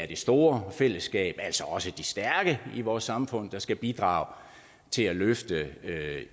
det store fællesskab altså også de stærke i vores samfund der skal bidrage til at løfte